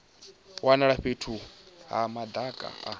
wanala fhethu ha madaka a